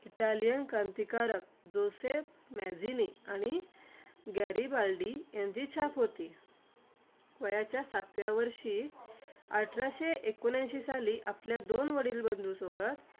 Italian क्रांतिकारक Joseph Mazzini आणि Garibaldi यांची छाप होती. वयाच्या सातव्या वर्षी अठराशे एकोणऐंशी साली आपल्या दोन वडील बंधूंसोबत